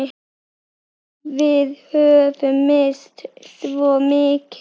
Við höfum misst svo mikið.